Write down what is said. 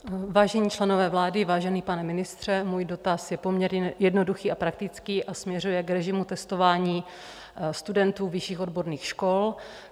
Vážení členové vlády, vážený pane ministře, můj dotaz je poměrně jednoduchý a praktický a směřuje k režimu testování studentů vyšších odborných škol.